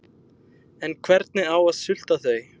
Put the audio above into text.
En hvernig á að sulta þau?